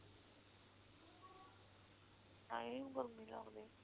ਨਹੀਂ ਗਰਮੀ ਲਗਦੀ